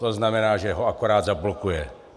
To znamená, že ho akorát zablokuje.